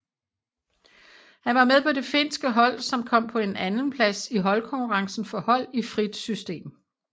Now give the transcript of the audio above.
Han var med på det finske hold som kom på en andenplads i holdkonkurrencen for hold i frit system